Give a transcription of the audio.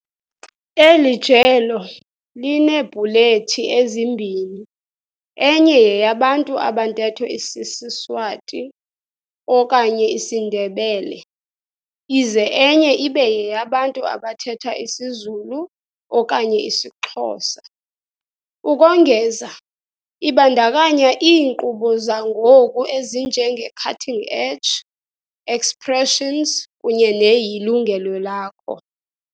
Eli jelo lineebhulethi ezimbini, enye yeyabantu abantetho isisiSwati okanye isiNdebele, ize enye ibe yeyabantu abathetha isiZulu okanye IsiXhosa. Ukongeza, ibandakanya iinkqubo zangoku ezinje ngeCutting Edge, Expressions kunye neYilungelo Lakho.